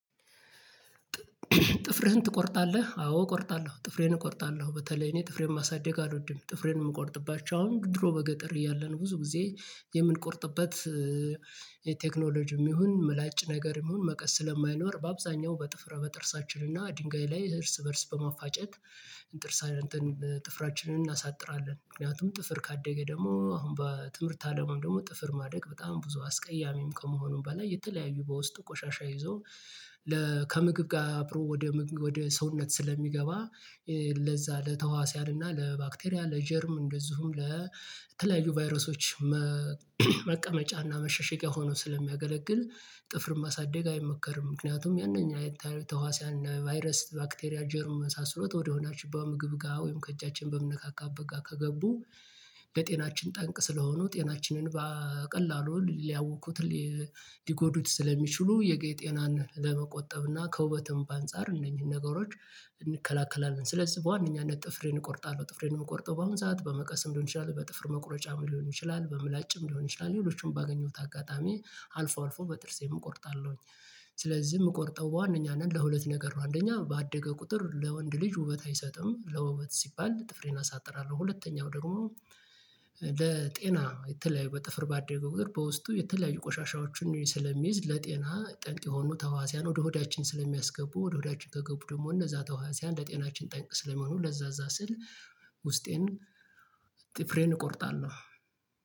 ጥፍርህን ትቆርጣለህ አዎ እቆርጣለሁ ጥፍሬን እቆርጣለሁ በተለይ እኔ ጥፍሬን ማሳደግ አልወድም ጥፍሬን የምቆርጥባቸው አሁን ድሮ በገጠር እያለን ብዙ ጊዜ የምንቆርጥበት የቴክኖሎጂም ይሁን ምላጭ ነገርም ይሁን መቀስ ስለማይኖር በአብዛኛው በጥፍረ በጥርሳችን እና ድንጋይ ላይ እርስ በእርስ በማፋጨት እንጥርሳ እንትን ጥፍራችንን እናሳጥራለን ምክንያቱም ጥፍር ካደገ ደግሞ አሁን በትምህርት አለም ደግሞ ጥፍር ማድረግ በጣም ብዙ አስቀያሚም ከመሆኑም በላይ የተለያዩ በውስጥ ቆሻሻ ይዞ ከምግብ ጋር አብሮ ወደ ሰውነት ስለሚገባ ለዛ ለተዋስያን እና ለባክቴሪያ ለጀርም እንደዚሁም ለተለያዩ ቫይረሶች መቀመጫና መሸሸጊያ ሆኖ ስለሚያገለግል ጥፍር ማሳደግ አይመከርም። ምክንያቱም ያንኛ ተዋሲያና ቫይረስ ባክቴሪያ ጀርመ የመሳሰሉት ወደ ሆዳችን በምግብ ጋር ወይም ከእጃችን በምነካካበት ጋ ከገቡ ለጤናችን ጠንቅ ስለሆኑ ጤናችንን በቀላሉ ሊያውኩት ሊጎዱት ስለሚችሉ የጤናን ለመቆጠብና ከውበትም በአንጻር እነኚህን ነገሮች እንከላከላለን። ስለዚህ በዋነኛነት ጥፍሬን እቆርጣለሁ ጥፍሬን የምቆርጠው በአሁን ሰዓት በመቀስም ሊሆን ይችላል በጥፍር መቁረጫም ሊሆን ይችላል በምላጭም ሊሆን ይችላል ሌሎችንም ባገኘሁት አጋጣሚ አልፎ አልፎ በጥርሴም እቆርጣለሁኝ። ስለዚህ የምቆርጠው ዋናኛ ነን ለሁለት ነገር ነው አንደኛ ባደገ ቁጥር ለወንድ ልጅ ውበት አይሰጥም ለውበት ሲባል ጥፍሬን አሳጥራለሁ። ሁለተኛው ደግሞ ለጤና የተለያዩ በጥፍር ባደገ ቁጥር በውስጡ የተለያዩ ቆሻሻዎችን ስለሚይዝ ለጤና ጠንቅ የሆኑ ተዋሲያን ወደ ሆዳችን ስለሚያስገቡ ወደ ሆዳችን ከገቡ ደግሞ እነዛ ተዋሲያን እንደ ለጤናችን ጠንቅ ስለሚሆኑ ለዛ እዛ ስል ውስጤን ጥፍሬን እቆርጣለሁ